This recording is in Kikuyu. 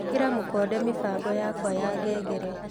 ĩkĩra mũkonde mĩbango yakwa ya ngengere .